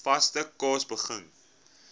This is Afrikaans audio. vaste kos begin